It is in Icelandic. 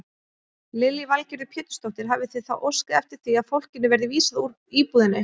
Lillý Valgerður Pétursdóttir: Hafið þið þá óskað eftir því að fólkinu verði vísað úr íbúðinni?